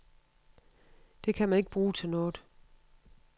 Det kan man ikke bruge til noget.